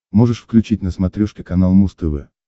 можешь включить на смотрешке канал муз тв